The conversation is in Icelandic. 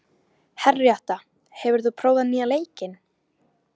Henríetta, hefur þú prófað nýja leikinn?